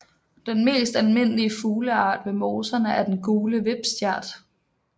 Den mest almindelige fugleart ved moserne er den gule vipstjert